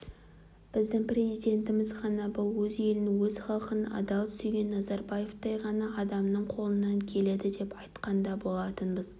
біздің президентіміз ғана бұл өз елін өз халқын адал сүйген назарбаевтай ғана адамның қолынан келеді деп айтқан да болатынбыз